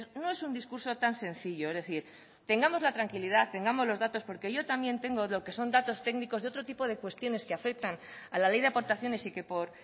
no es un discurso tan sencillo es decir tengamos la tranquilidad tengamos los datos porque yo también tengo lo que son datos técnicos de otro tipo de cuestiones que afectan a la ley de aportaciones y que por